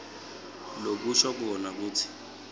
lokusho kona kutsi